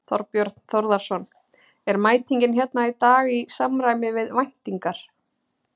Þorbjörn Þórðarson: Er mætingin hérna í dag í samræmi við væntingar?